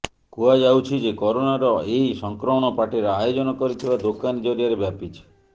କୁହାଯାଉଛି ଯେ କରୋନାର ଏହି ସଂକ୍ରମଣ ପାର୍ଟିର ଆୟୋଜନ କରିଥିବା ଦୋକାନୀ ଜରିଆରେ ବ୍ୟାପିଛି